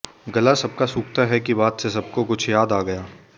गला सबका सूखता है कि बात से सबको कुछ याद आ गया